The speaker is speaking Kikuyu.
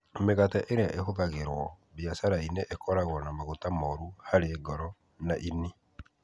Mĩgate ĩrĩa ĩhũthagĩrũo biacara-inĩ ĩkoragwo na maguta moru harĩ ngoro na ini.